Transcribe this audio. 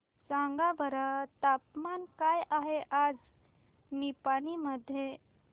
सांगा बरं तापमान काय आहे आज निपाणी मध्ये